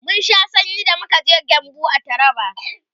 mun Sha sanyi da muka je gembu a taraba